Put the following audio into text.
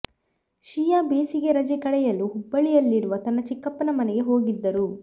ಶಿಯಾ ಬೇಸಿಗೆ ರಜೆ ಕಳೆಯಲು ಹುಬ್ಬಳ್ಳಿಯಲ್ಲಿರುವ ತನ್ನ ಚಿಕ್ಕಪ್ಪನ ಮನೆಗೆ ಹೋಗಿದ್ದರು